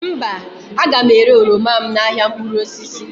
mba, a ga m ere oroma m n’ahịa mkpụrụ osisi